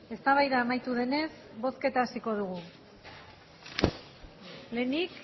eztabaida amaitu denez bozketa hasiko dugu lehenik